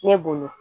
Ne bolo